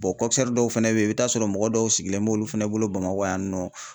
dɔw fɛnɛ be yen i bi t'a sɔrɔ mɔgɔ dɔw sigilen b'olu fɛnɛ bolo Bamakɔ yan nɔ.